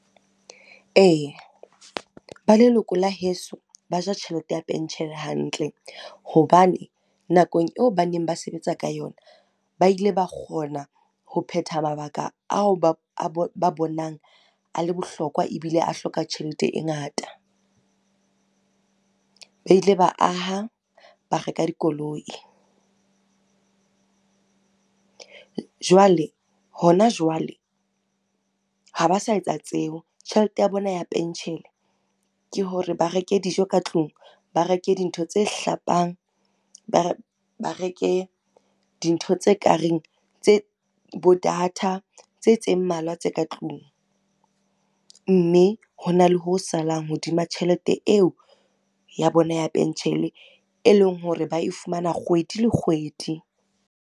Ee, ba leloko la heso ba ja tjhelete ya penshene hantle hobane nakong eo ba neng ba sebetsa ka yona, ba ile ba kgona ho phetha mabaka ao ba bonang a le bohlokwa ebile a hloka tjhelete e ngata. Ba ile ba aha, ba reka dikoloi. Jwale, hona jwale ha ba sa etsa tseo, tjhelete ya bona ya penshene ke hore ba reke dijo ka tlung, ba reke dintho tse hlapang, ba reke dintho tse ka reng bo data tse mmalwa tse ka tlung. Mme hona le ho salang hodima tjhelete eo ya bona ya penshene, e leng hore ba e fumana kgwedi le kgwedi.